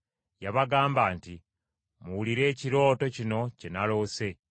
Yabagamba nti, “Muwulire ekirooto kino kye naloose.